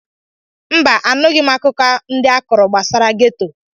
Mba, anụghị m akụkọ ndị a kọrọ gbasara geto.